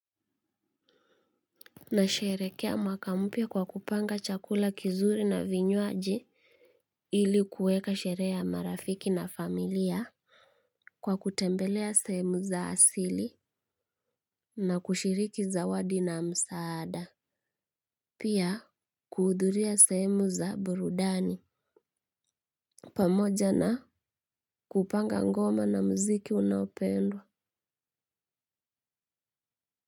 Na sherekea mwaka mpya kwa kupanga chakula kizuri na vinywaji ilikuweka sherehe ya marafiki na familia kwa kutembelea sehemu za asili na kushiriki zawadi na msaada. Pia kuhudhuria sehemu za burudani pamoja na kupanga ngoma na muziki unaopendwa.